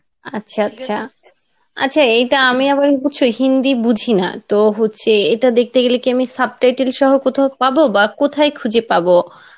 আচ্ছা আচ্ছা আচ্ছা এটা আমি আবার হিন্দি বুঝিনা তো হচ্ছে এটা দেখতে গেলে কি আমি subtitle সহ কোথাও পাবো? বা কোথায় খুঁজে পাবো?